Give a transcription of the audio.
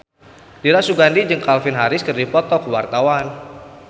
Dira Sugandi jeung Calvin Harris keur dipoto ku wartawan